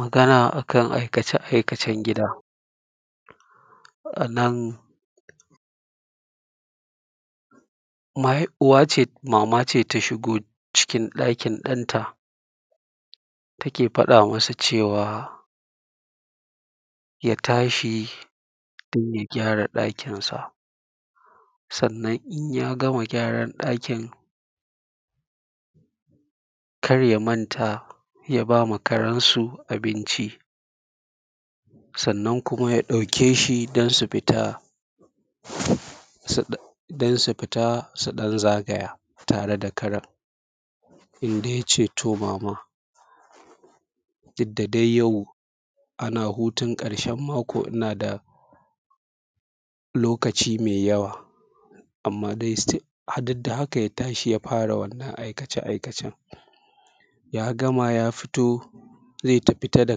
magana akan aikace aikacen gida a nan maihai uwa ce mama ce in ta shigo ɗakin ɗanta take faɗa masa cewa ya tashi don ya gyara ɗakinsa sannan in yaga gyaran ɗakin kar ya manta ya bama karensu abincin sannan kuma ya ɗauki shi don su jita su don su fita su ɗan zagaya tare da Karen inda yace to mama duk da dai yau ana hutun ƙarshen mako ina da lokaci mai yawa amma dai “still” duk da haka ya tashi ya fara wannan aikace aikacen ya gama ya fita zai fita da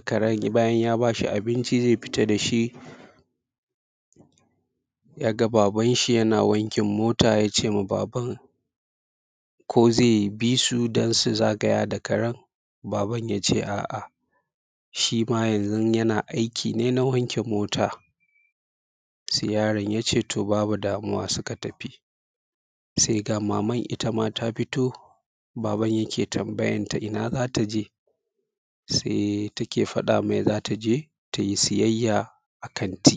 karen bayan ya bashi abinci zai fita da shi yaga ba:ban shi yana wankin mota tace ma baban ko zai bisu don su zagaya da karen baban yace a`a shi ma yanzun yana aiki ne na wanke mota sai yaron ya ce to babu damuwa suka tafi sai ga maman itama ta fito baban yake tambayan ta ina zata je sai take faɗa mai zata je tayi sayayya a kanti